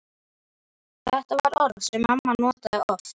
Þetta var orð sem mamma notaði oft og